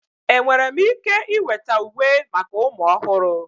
Enwere m ike iweta uwe maka ụmụ ọhụrụ?